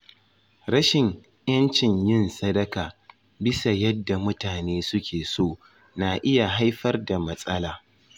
Rashin 'yancin yin sadaka bisa yadda mutane suke so na iya haifar da matsala.